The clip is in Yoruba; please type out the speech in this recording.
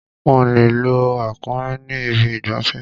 Wọ́n le lo ràkúnmí ní ibi ìgbafẹ́.